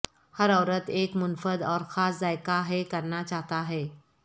ہر عورت ایک منفرد اور خاص ذائقہ ہے کرنا چاہتا ہے